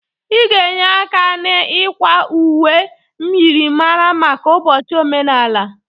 Ị ga-enye aka n'ịkwa uwe myịrịmara maka ụbọchị omenala.